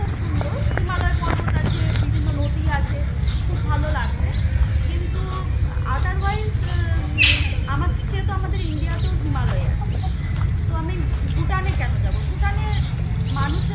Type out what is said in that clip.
খুব সুন্দর. হিমালয় পর্বত আছে, বিভিন্ন নদি আছে, খুব ভাল লাগবে. কিন্তু otherwise উম আমার সে তো আমাদের ইন্ডিয়াতেও হিমালয় আছে. তো আমি ভুটানে কেন যাব? ভুটানে মানুষের